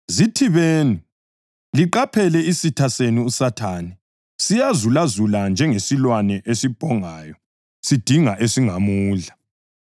Zithibeni, liqaphele. Isitha senu uSathane, siyazulazula njengesilwane esibhongayo sidinga esingamudla.